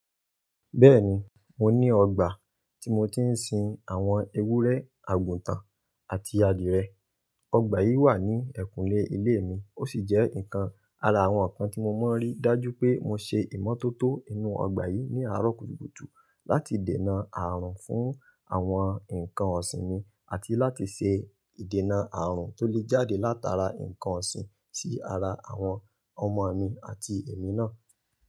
Bẹ́ẹ̀ni, mo ní ọgbà tí mo ti ń sin àwọn ewúrẹ́, àgùntàn àti adìrẹ. Ọgbà yìí wà ní ẹ̀kúnlé ilé mi. Ó sì jẹ́ nǹkan ara àwọn nǹkan tí mo máa ń rí. Dájú pé mo ṣe ìmọ́tótó inú ọgbà yìí ní àárọ̀ kùtùkùtù láti dènà ààrùn fún àwọn nǹkan ọ̀sìn mi àti láti ṣe ìdènà ààrùn tó lè jáde látara nǹkan ọ̀sìn sí ara àwọn ọmọ mi àti èmi náà.